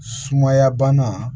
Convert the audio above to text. Sumaya bana